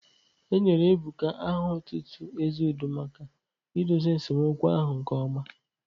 Enyere Ebuka aha otutu 'Ezeudo' maka idozi esemokwu ahụ nke ọma.